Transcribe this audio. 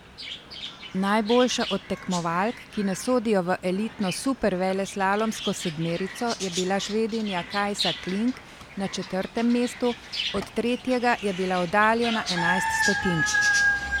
Najboljša od tekmovalk, ki ne sodijo v elitno superveleslalomsko sedmerico, je bila Švedinja Kajsa Kling na četrtem mestu, od tretjega je bila oddaljena enajst stotink.